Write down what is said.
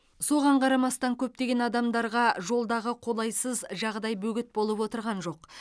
соған қарамастан көптеген адамдарға жолдағы қолайсыз жағдай бөгет болып отырған жоқ